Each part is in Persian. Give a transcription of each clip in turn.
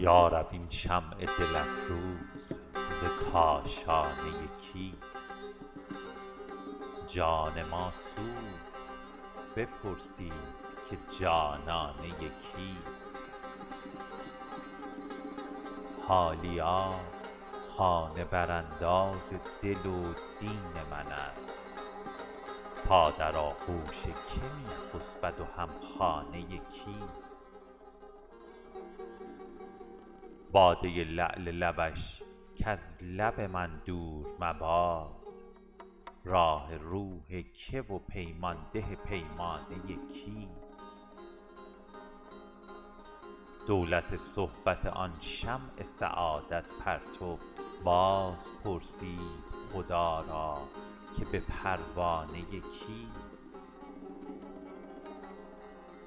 یا رب این شمع دل افروز ز کاشانه کیست جان ما سوخت بپرسید که جانانه کیست حالیا خانه برانداز دل و دین من است تا در آغوش که می خسبد و هم خانه کیست باده لعل لبش کز لب من دور مباد راح روح که و پیمان ده پیمانه کیست دولت صحبت آن شمع سعادت پرتو باز پرسید خدا را که به پروانه کیست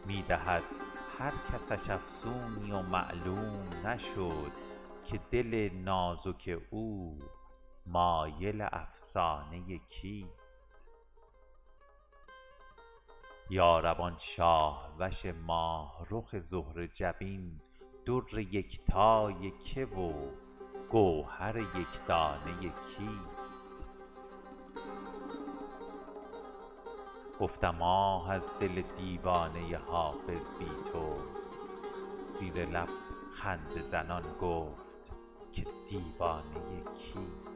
می دهد هر کسش افسونی و معلوم نشد که دل نازک او مایل افسانه کیست یا رب آن شاه وش ماه رخ زهره جبین در یکتای که و گوهر یک دانه کیست گفتم آه از دل دیوانه حافظ بی تو زیر لب خنده زنان گفت که دیوانه کیست